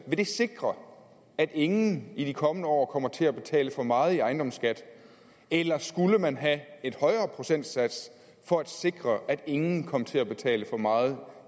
vil det sikre at ingen i de kommende år kommer til at betale for meget i ejendomsskat eller skulle man have en højere procentsats for at sikre at ingen kom til at betale for meget